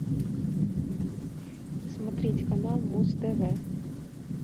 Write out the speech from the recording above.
смотреть канал муз тв